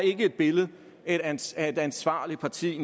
ikke et billede af et ansvarligt ansvarligt parti det